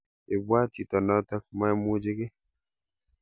ibwaat chito noto maimuche kei